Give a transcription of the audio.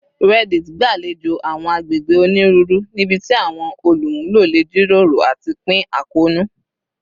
Reddit gbalejo awọn agbegbe oniruuru nibiti awọn olumulo le jiroro ati pin akoonu